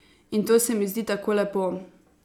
In to se mi zdi tako lepo.